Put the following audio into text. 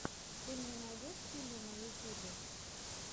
ты мне найдешь фильмы на ютюбе